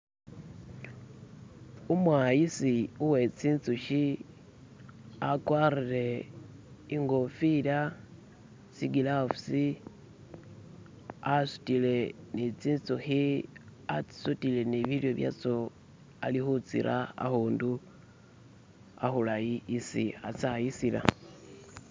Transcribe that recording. Umwayisi uwe zinzuki agwatile inkofila, zigilavusi asudile ni zinzuki, azisudiile ni bilyo bazo ali kuzita akutu akulayi isi azayisila.